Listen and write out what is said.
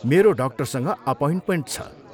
मेरो डाक्टरसँग अपोइन्टमेन्ट छ।